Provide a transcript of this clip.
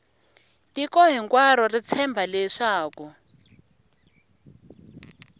tiko hinkwaro ri tshemba leswaku